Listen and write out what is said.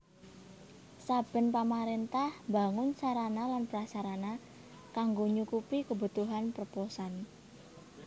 Saben pamaréntah mbangun sarana lan prasarana kanggo nyukupi kebutuhan perposan